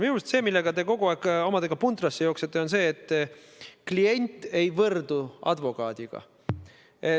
Minu arust see, millega te kogu aeg omadega puntrasse jooksete, on see, et unustate, et klient ei võrdu advokaadiga.